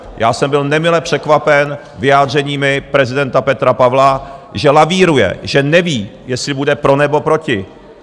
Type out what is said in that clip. Já jsem byl nemile překvapen vyjádřeními prezidenta Petra Pavla, že lavíruje, že neví, jestli bude pro, nebo proti.